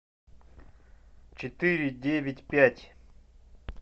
четыре девять пять